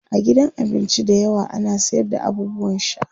a gidan abinci da yawa ana sayar da abubuwan sha